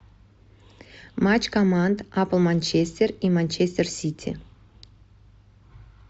матч команд апл манчестер и манчестер сити